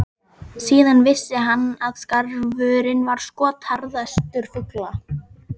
Síðan vissi hann að skarfurinn var skotharðastur fugla.